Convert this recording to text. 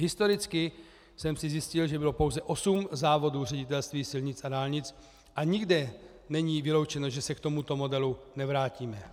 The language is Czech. Historicky jsem si zjistil, že bylo pouze 8 závodů Ředitelství silnic a dálnic, a nikde není vyloučeno, že se k tomuto modelu nevrátíme.